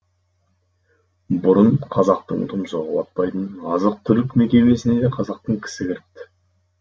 бұрын қазақтың тұмсығы батпайтын азық түлік мекемесіне де қазақтан кісі кіріпті